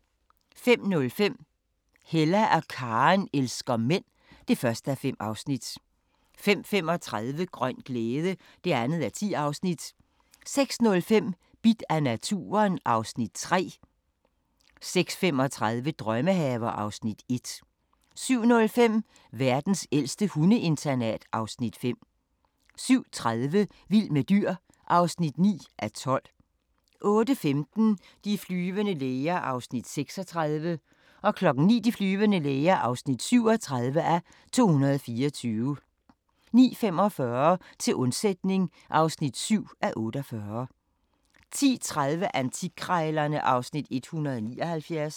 05:05: Hella og Karen elsker mænd (1:5) 05:35: Grøn glæde (2:10) 06:05: Bidt af naturen (Afs. 3) 06:35: Drømmehaver (Afs. 1) 07:05: Verdens ældste hundeinternat (Afs. 5) 07:30: Vild med dyr (9:12) 08:15: De flyvende læger (36:224) 09:00: De flyvende læger (37:224) 09:45: Til undsætning (7:48) 10:30: Antikkrejlerne (Afs. 179)